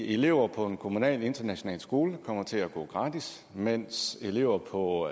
elever på en kommunal international skole kommer til at gå gratis mens elever på